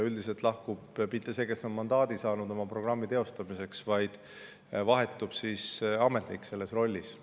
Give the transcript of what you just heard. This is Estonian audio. Üldiselt ei lahku mitte see, kes on mandaadi saanud oma programmi teostamiseks, vaid vahetub ametnik selles rollis.